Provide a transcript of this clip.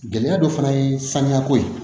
Gɛlɛya dɔ fana ye sanuyako ye